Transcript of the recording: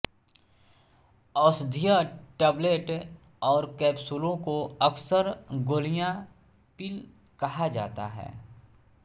औषधीय टैबलेट और कैप्सूलों को अक्सर गोलियां पिल कहा जाता है